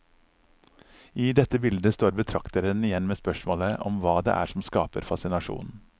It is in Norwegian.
I dette bildet står betrakteren igjen med spørsmålet om hva det er som skaper fascinasjonen.